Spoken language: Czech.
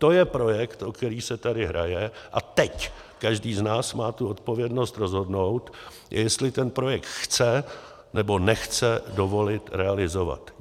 To je projekt, o který se tady hraje, a teď každý z nás má tu odpovědnost rozhodnout, jestli ten projekt chce, nebo nechce dovolit realizovat.